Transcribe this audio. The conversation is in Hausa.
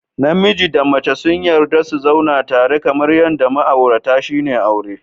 Namiji da mace sun yarda su zauna tare kamar yadda ma'aurata shine aure